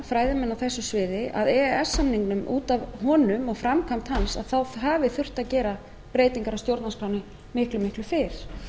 á þessu sviði að út af e e s samningnum og framkvæmd hans þá hafi þurft að gera breytingar á stjórnarskránni miklu fyrr